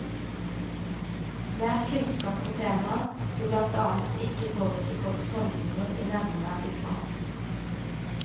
Mer kunnskap om temaet vil blant annet ikke påvirke folks holdninger i nevneverdig grad.